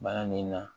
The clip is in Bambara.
Bana min na